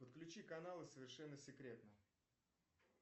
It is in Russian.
подключи каналы совершенно секретно